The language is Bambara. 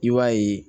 I b'a ye